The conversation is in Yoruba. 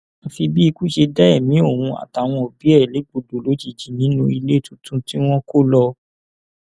àfi bí ikú ṣe dá ẹmí òun àtàwọn òbí ẹ légbodò lójijì nínú ilé tuntun tí wọn kò lọ